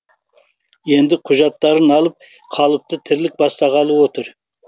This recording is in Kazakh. енді құжаттарын алып қалыпты тірлік бастағалы отыр